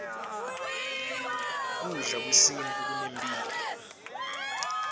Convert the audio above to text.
kudla kwesintfu kunemphilo